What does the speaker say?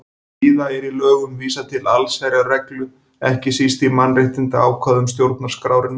Víða er í lögum vísað til allsherjarreglu, ekki síst í mannréttindaákvæðum stjórnarskrárinnar.